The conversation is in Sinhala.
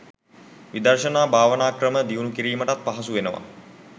විදර්ශනා භාවනා ක්‍රම දියුණු කිරීමටත් පහසු වෙනවා.